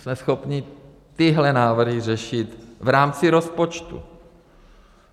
Jsme schopni tyhle návrhy řešit v rámci rozpočtu.